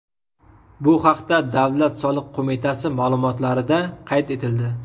Bu haqda Davlat soliq qo‘mitasi ma’lumotlarida qayd etildi .